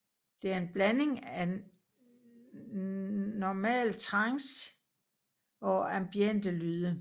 Det er en blanding af normal trance og ambiente lyde